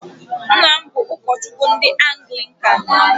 Nna m bụ ụkọchukwu ndị anglikan.